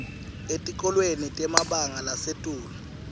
etikolweni temabanga lasetulu